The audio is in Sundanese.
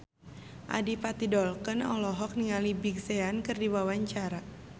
Adipati Dolken olohok ningali Big Sean keur diwawancara